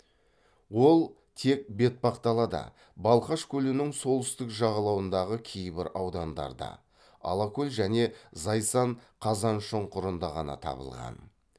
ол тек бетпақдалада балқаш көлінің солтүстік жағалауындағы кейбір аудандарда алакөл және зайсан қазаншұңқырында ғана табылған